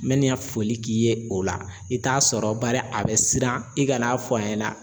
N bɛ nin ka foli k'i ye o la i t'a sɔrɔ bari a bɛ siran i ka n'a fɔ a ɲɛna.